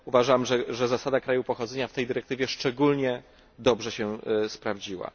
Uważam, że zasada kraju pochodzenia w tej dyrektywie szczególnie dobrze się sprawdziła.